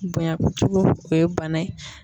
Bonya kojugu o ye bana ye